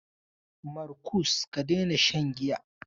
Markus, ka daina shan giya!